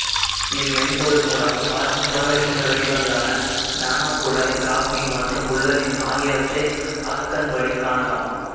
இம்மென்பொருள் மூலம் கார்பன் புறவேற்றுமை வடிவங்களான நானோகுழாய் கிராபீன் மற்றும் ஃபுலரின் ஆகியவற்றை அகக்கண்வழி காணலாம்